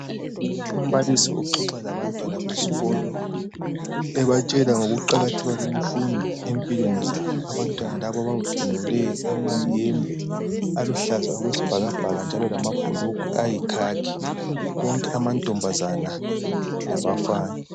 Umbalisi uxoxa labantwana besikolo ebatshela ngokuqakatheka kwemfundo empilweni zabo abantwana laba bavunule amayembe aluhlaza okwesibhakabhaka njalo lamabhulugwe ayikhakhi konke amankazana labafana.